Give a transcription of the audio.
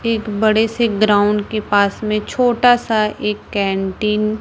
एक बड़े से ग्राउंड के पास में छोटा सा एक कैंटीन --